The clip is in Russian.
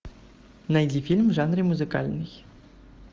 найди фильм в жанре музыкальный